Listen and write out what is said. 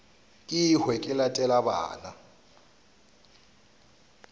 ke hwe ke latele bana